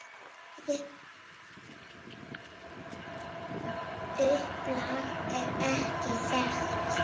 Upplag er ekki þekkt.